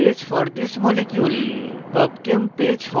nist webbook page for this molecule